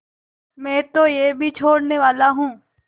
मैं तो यह भी छोड़नेवाला हूँ